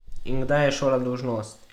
In kdaj je šola dolžnost?